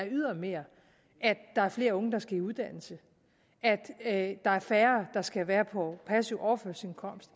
ydermere at der er flere unge der skal i uddannelse at der er færre der skal være på en passiv overførselsindkomst